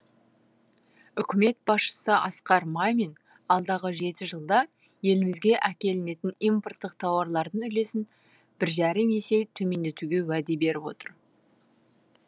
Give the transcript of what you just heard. үкімет басшысы асқар мамин алдағы жеті жылда елімізге әкелінетін импорттық тауарлардың үлесін бір жарым есе төмендетуге уәде беріп отыр